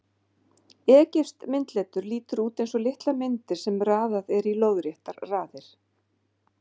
Egypskt myndletur lítur út eins og litlar myndir sem raðað er í lóðréttar raðir.